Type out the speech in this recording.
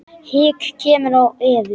Hik kemur á Evu.